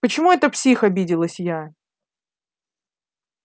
почему это псих обиделась я